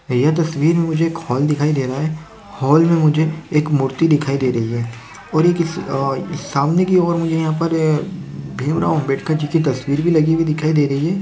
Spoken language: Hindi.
यह तस्वीर में मुझे एक हॉल दिखाई दे रहा है हॉल में मुझे एक मूर्ति दिखाई दे रही है और ये किसी अ सामने की ओर मुझे यहाँ पर भीम राव अम्बेडकरजी की तस्वीर भी लगी हुई दिखाई दे रही है।